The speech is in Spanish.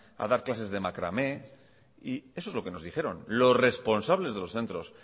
a dar clases de macramé y eso es lo que nos dijeron los responsables de los centros